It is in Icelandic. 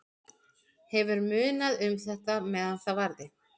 Hefur munað um þetta meðan það varði.